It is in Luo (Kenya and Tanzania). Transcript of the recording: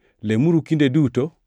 lemuru kinde duto;